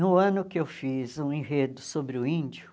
No ano que eu fiz um enredo sobre o índio,